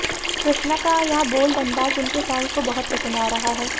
कृष्णा का यह बोल्ड अंदाज उनके फैन्स को बहुत पसंद आ रहा है